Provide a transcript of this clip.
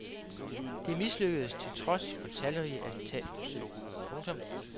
Det mislykkedes til trods for talrige attentatforsøg. punktum